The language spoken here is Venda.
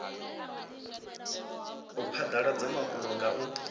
u phadaladza mafhungo nga u